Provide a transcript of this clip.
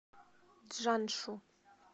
чжаншу